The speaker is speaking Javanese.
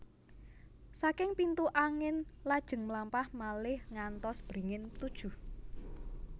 Saking pintu angin lajeng mlampah malih ngantos beringin tujuh